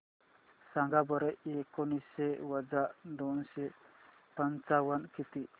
सांगा बरं एकोणीसशे वजा दोनशे पंचावन्न किती